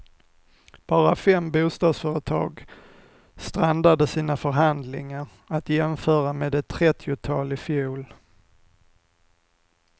Bara fem bostadsföretag strandade sina förhandlingar, att jämföra med ett trettiotal i fjol.